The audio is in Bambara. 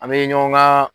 An bɛ ɲɔgɔn ka